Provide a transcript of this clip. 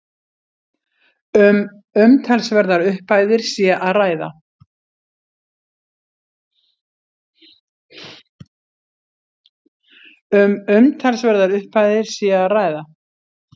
Um umtalsverðar upphæðir sé að ræða